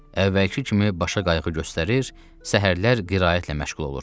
Əvvəlki kimi başa qayğı göstərir, səhərlər qiraətlə məşğul olurdu.